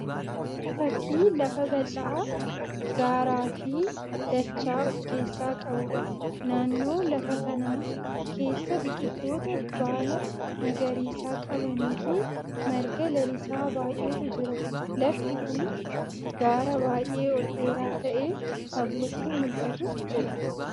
Fakkii lafa bal'aa gaaraa fi dachaa of keessaa qabuudha. Naannoo lafa kanaa keessa biqiloota baala magariisa qabanii fi marga lalisaa baay'eetu jira. Lafti kun gaara baay'ee ol dheeraa ta'ee fagootti mul'atu jira.